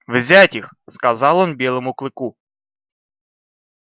взять их сказал он белому клыку